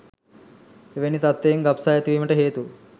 එවැනි තත්ත්වයන් ගබ්සා ඇති වීමට හේතු